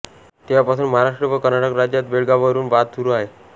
तेव्हापासून महाराष्ट्र व कर्नाटक राज्यात बेळगावावरून वाद सुरू आहे